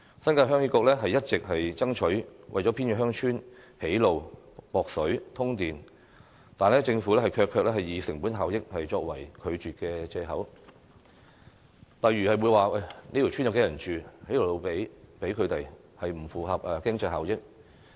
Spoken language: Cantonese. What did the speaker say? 新界鄉議局一直爭取為偏遠鄉村修路、供水、通電，但政府卻以成本效益作為拒絕的藉口，例如會說這條村有多少人居住，興建一條路給他們不符合經濟效益。